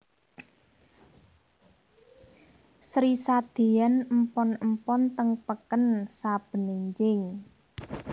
Sri sadeyan empon empon teng peken saben enjing